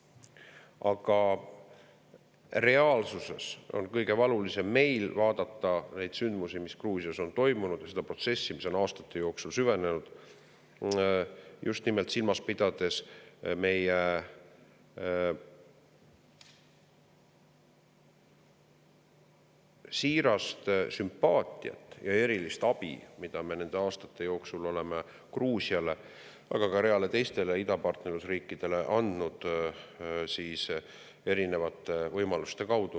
Aga meil on kõige valulisem vaadata neid sündmusi, mis Gruusias on toimunud, seda protsessi, mis on aastate jooksul süvenenud, just nimelt silmas pidades meie siirast sümpaatiat ja erilist abi, mida me nende aastate jooksul oleme Gruusiale, aga ka reale teistele idapartnerluse riikidele vastavalt oma võimalustele osutanud.